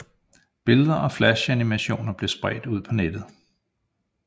Billeder og flash animationer blev spredt ud på nettet